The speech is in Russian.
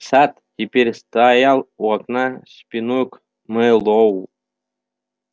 сатт теперь стоял у окна спиной к мэллоу